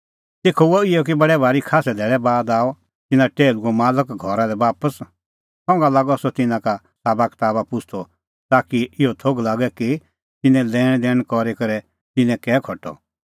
तेखअ हुअ इहअ कि बडै भारी खास्सै धैल़ै बाद आअ तिन्नां टैहलूओ मालक घरा लै बापस संघा लागअ सह तिन्नां का साबा कताबा पुछ़दअ ताकि इहअ थोघ लागे कि तिन्नैं लैणदैण करी करै तिन्नैं कै खटअ